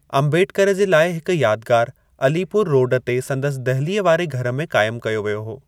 अंबेडकर जे लाइ हिक यादगारि अलीपुर रोड ते संदसि दहिलीअ वारे घर में क़ाइम कयो वियो हो।